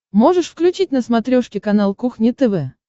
можешь включить на смотрешке канал кухня тв